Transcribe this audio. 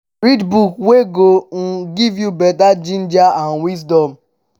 read book wey go um give yu beta ginger and wisdom.